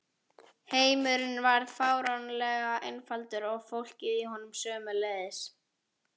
Heimurinn varð fáránlega einfaldur og fólkið í honum sömuleiðis.